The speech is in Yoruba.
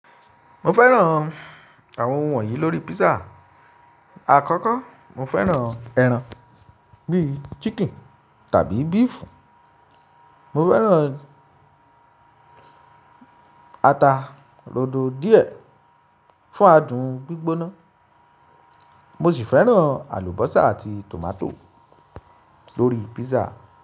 Mo fẹ́ràn àwọn ohun wọ̀nyí lórí písà. Àkọ́kọ́, mo fẹ́ràn ẹran bíi chicken tàbí beef. Mo fẹ́ràn ata rodo díẹ̀ fún adùn gbígbóná. Mo sì fẹ́ràn àlùbọ́sà àti tòmátò lórí písà.